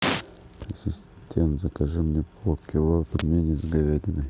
ассистент закажи мне пол кило пельменей с говядиной